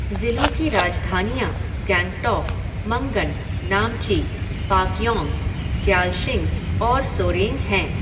ज़िलों की राजधानियाँ गैंगटौक, मंगन, नामची, पाक्यौंग, ग्यालशिंग और सोरेंग हैं।